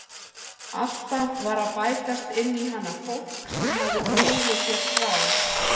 Alltaf var að bætast inn í hana fólk sem hafði brugðið sér frá.